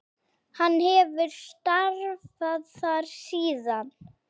Hann hefur starfað þar síðan.